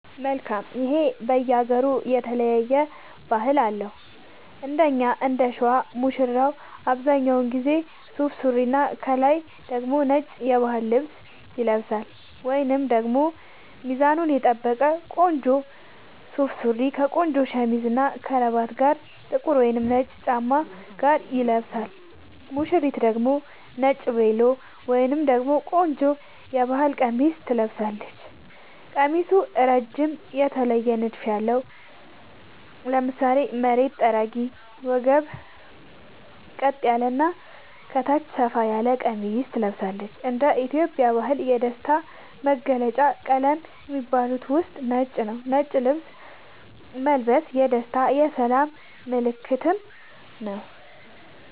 መልካም ይሄ በየ ሃገሩ የተለያየ ባህል አለው እንደኛ እንደሸዋ ሙሽራው አብዛኛውን ጊዜ ሱፍ ሱሪና ከላይ ደግሞ ነጭ የባህል ልብስ ይለብሳልወይንም ደግሞ ሚዛኑን የጠበቀ ቆንጆ ሱፍ ሱሪ ከቆንጆ ሸሚዝ እና ከረባት ጋር ጥቁር ወይም ነጭ ጫማ ጋር ይለብሳል ሙሽሪት ደግሞ ነጭ ቬሎ ወይም ደግሞ ቆንጆ የባህል ቀሚስ ትለብሳለች ቀሚሱ እረጅም የተለየ ንድፍ ያለው ( ለምሳሌ መሬት ጠራጊ ወገብ ቀጥ ያለ እና ከታች ሰፋ ያለ ቀሚስ ትለብሳለች )እንደ ኢትዮጵያ ባህል የደስታ መገልውጫ ቀለም ከሚባሉት ውስጥ ነጭ ነዉ ነጭ ልብስ መልበስ የደስታ የሰላም ምልክትም ነዉ